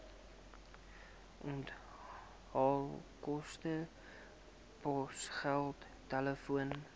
onthaalkoste posgeld telefoon